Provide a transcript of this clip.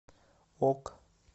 ок